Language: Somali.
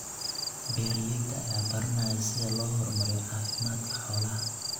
Beeralayda ayaa baranaya sida loo horumariyo caafimaadka xoolaha.